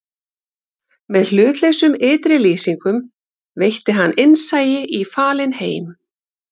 Með hlutlausum ytri lýsingum veitti hann innsæi í falinn heim